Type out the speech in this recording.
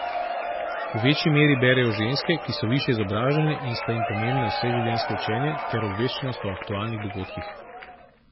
V večji meri berejo ženske, ki so višje izobražene in sta jim pomembna vseživljenjsko učenje ter obveščenost o aktualnih dogodkih.